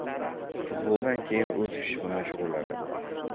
Futboldan keyin o‘z ishi bilan shug‘ullanadi.